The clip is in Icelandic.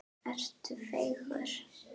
Ertu feigur?